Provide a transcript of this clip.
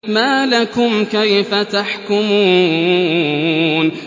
مَا لَكُمْ كَيْفَ تَحْكُمُونَ